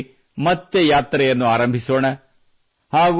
2022ರಲ್ಲಿ ಮತ್ತೆ ಯಾತ್ರೆಯನ್ನು ಆರಂಭಿಸೋಣ